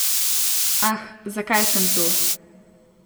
Ah, zakaj sem tu ...